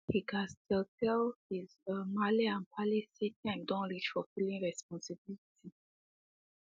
he gas tell tell his um malle and palle say time Accepted reach for filling responsibility